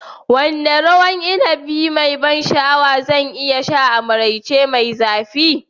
Wane ruwan inibi mai ban sha'awa zan iya sha a maraice mai zafi?